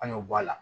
An y'o bɔ a la